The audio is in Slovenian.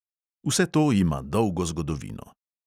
Vse to ima dolgo zgodovino.